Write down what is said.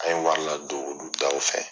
An ye wari ladon olu daw fɛ.